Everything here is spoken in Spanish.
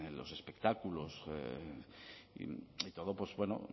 los espectáculos y todo pues bueno